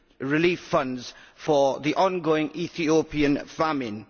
relief funds for the ongoing Ethiopian famine.